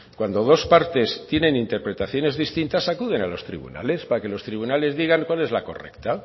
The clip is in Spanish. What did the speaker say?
cuando dos partes tienen interpretaciones distintas acuden a los tribunales para que los tribunales digan cuál es la correcta